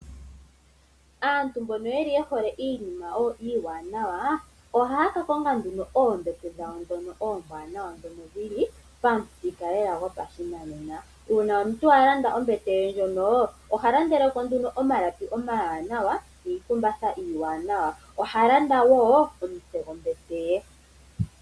Aantu mbono mba yeli ye hole iinima iiwanawa, ohaya ka konga nduno oombete dhono oombwanawa dhono dhili pamuthika lela gopashinanena. Uuna omuntu a landa ombete ye ndjono oha landeleko nduno omalapi omawanawa niikumbatha iiwanawa, oha landa wo omutse gombete ye.